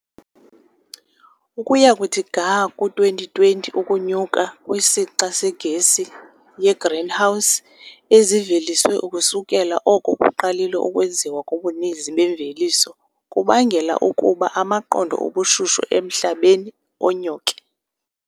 Ukuya kuthi ga ku-2020, ukunyuka kwesixa segesi yegreenhouse eziveliswe ukusukela oko kuqalile ukwenziwa kobuninzi bemveliso kubangela ukuba amaqondo obushushu emhlabeni anyuke.